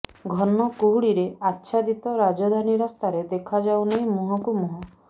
ଘନ କୁହୁଡିରେ ଆଚ୍ଛାଦିତ ରାଜଧାନୀ ରାସ୍ତାରେ ଦେଖାଯାଉ ନାହିଁ ମୁହଁକୁ ମୁହଁ